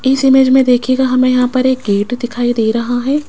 इस इमेज में देखिएगा हमें यहां पर एक गेट दिखाई दे रहा है।